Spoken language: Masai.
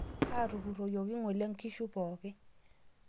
Kaatupuroyieki ng'ole nkishu pooki